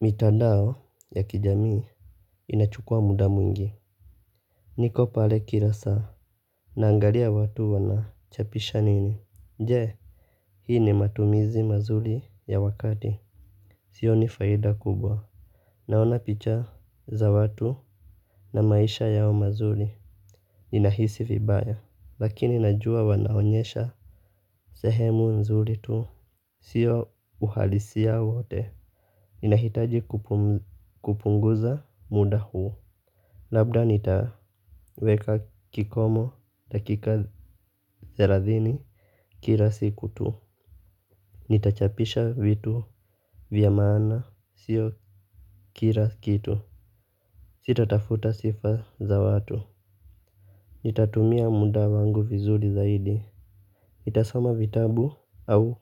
Mitandao ya kijamii inachukua muda mwingi. Niko pale kila saa. Naangalia watu wanachapisha nini je hii ni matumizi mazuri ya wakati hio ni faida kubwa. Naona picha za watu na maisha yao mazuli inahisi vibaya. Lakini najua wanaonyesha sehemu nzuri tu. Sio uhalisia wote. Ninahitaji kupunguza muda huu. Labda nitaweka kikomo dakika thelathini kila siku tu. Nitachapisha vitu vya maana sio kila kitu nitatafuta sifa za watu. Nitatumia muda wangu vizuri zaidi nitasoma vitabu au